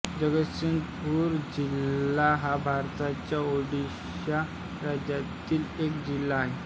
जगतसिंगपुर जिल्हा हा भारताच्या ओडिशा राज्यातील एक जिल्हा आहे